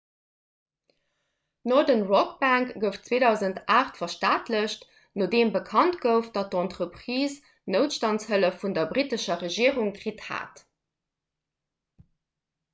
d'northern rock bank gouf 2008 verstaatlecht nodeem bekannt gouf datt d'entreprise noutstandshëllef vun der brittescher regierung kritt hat